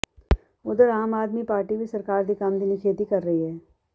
ਓਧਰ ਆਮ ਆਦਮੀ ਪਾਰਟੀ ਵੀ ਸਰਕਾਰ ਦੇ ਇਸ ਕੰਮ ਦੀ ਨਿਖੇਧੀ ਕਰ ਰਹੀ ਹੇ